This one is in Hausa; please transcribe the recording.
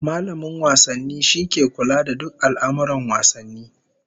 Mallamin wasanni shine ke kula da duk al'amurran wasanni